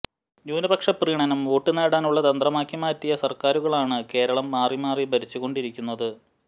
ന്യൂനപക്ഷ പ്രീണനം വോട്ടു നേടാനുള്ള തന്ത്രമാക്കിമാറ്റിയ സര്ക്കാരുകളാണ് കേരളം മാറി മാറി ഭരിച്ചുകൊണ്ടിരിക്കുന്നത്